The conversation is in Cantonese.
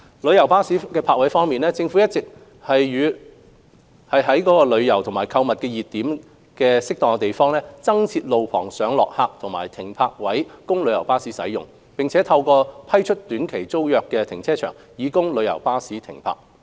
旅遊巴士泊位方面，政府一直在旅遊及購物熱點等合適地點，增設路旁上落客點和停泊位供旅遊巴士使用，並透過批出短期租約停車場，供旅遊巴士停泊。